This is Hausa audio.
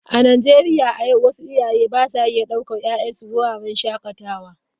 A Najeriya a yau wasu iyaye ba sa iya daukar 'ya'yansu wuraren shakatawa.